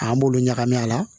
An b'olu ɲagami a la